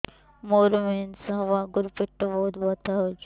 ମୋର ମେନ୍ସେସ ହବା ଆଗରୁ ପେଟ ବହୁତ ବଥା ହଉଚି